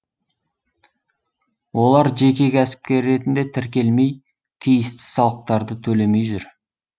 олар жеке кәсіпкер ретінде тіркелмей тиісті салықтарды төлемей жүр